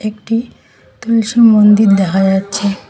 একটি তুলসী মন্দির দেখা যাচ্ছে।